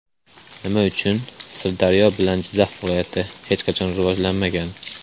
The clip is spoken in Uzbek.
Nima uchun Sirdaryo bilan Jizzax viloyati hech qachon rivojlanmagan?